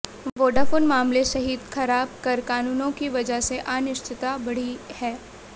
Vodafone मामले सहित खराब कर कानूनों की वजह से अनिश्चितता बढ़ी है